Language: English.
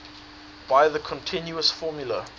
by the continuous formula